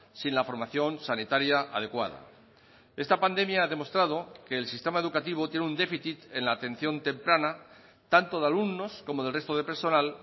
sin la formación sanitaria adecuada esta pandemia ha demostrado que el sistema educativo tiene un déficit en la atención temprana tanto de alumnos como del resto de personal